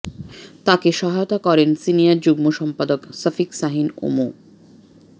তাকে সহায়তা করেন সিনিয়র যুগ্ম সম্পাদক সফিক শাহীন ও মো